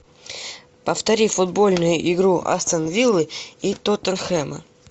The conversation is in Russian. повтори футбольную игру астон виллы и тоттенхэма